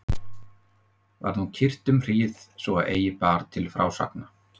Var nú kyrrt um hríð svo að eigi bar til frásagna.